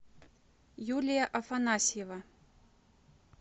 юлия афанасьева